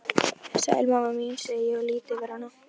Konan oftar mótfallin, æ ekki núna, börnin, óupplögð, þreytt.